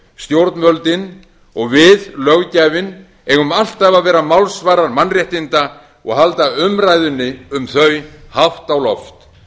stjórnvöldin og við löggjafinn eigum alltaf að vera málsvarar mannréttinda og halda umræðunni um þau hátt á loft